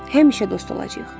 Həmişə dost olacağıq.